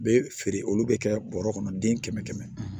Bɛ feere olu bɛ kɛ bɔrɔ kɔnɔ den kɛmɛ kɛmɛ